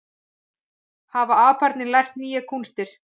Hafa aparnir lært nýjar kúnstir